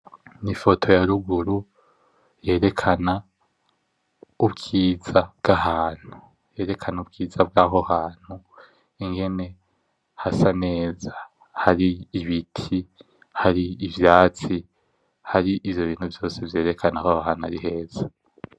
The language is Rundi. Ni ifoto ya ruguru yerekana ubwiza bw'ahantu, yerekana ubwiza bw'aho hantu ingene hasa neza. Hari ibiti, hari ivyatsi, hari ivyo bintu vyose vyerekana yuko aho hantu ari heza.